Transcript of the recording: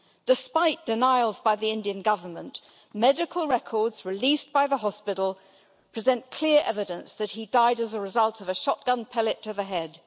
Despite denials by the Indian Government, medical records released by the hospital present clear evidence that he died as a result of a shotgun pellet to the head.